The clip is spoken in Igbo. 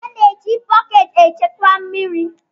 A na-eji bọket echekwa mmiri.